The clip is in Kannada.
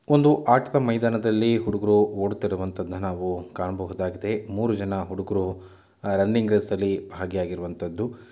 ಒಂದು ಆಟದ ಮೈದಾನದಲ್ಲಿ ಹುಡುಗ್ರು ಓಡುತ್ತಿರುವಂತಾದನ್ನ ನಾವು ಕಾಣಬಹುದಾಗಿದೆ. ಮೂರು ಜನ ಹುಡುಗ್ರು ಆ ರನ್ನಿಂಗ್‌ ರೇಸ್‌ನಲ್ಲಿ ಭಾಗಿಯಾಗಿರುವಂತದ್ದು--